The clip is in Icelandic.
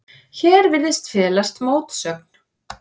Hér virðist felast mótsögn.